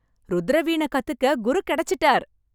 ருத்திர வீணை கத்துக்க குரு கிடைச்சுட்டார்!